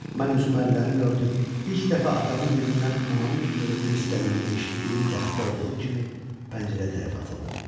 Mən üzümü əllərimlə örtüb, ilk dəfə atamın dilindən anamın ölümünü istədiyini eşitdiyim vaxtda olduğu kimi pəncərə tərəfə atıldım.